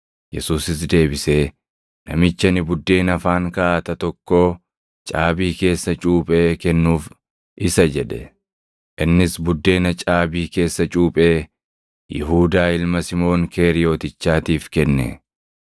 Yesuusis deebisee, “Namichi ani buddeena afaan kaaʼata tokkoo caabii keessa cuuphee kennuuf isa” jedhe. Innis buddeena caabii keessa cuuphee Yihuudaa ilma Simoon Keeriyotichaatiif kenne.